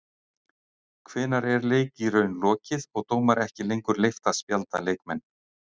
Hvenær er leik í raun lokið og dómara ekki lengur leyft að spjalda leikmenn?